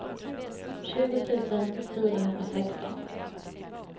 tjugo tusen fyrahundrasexton